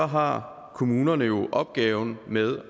har kommunerne opgaven med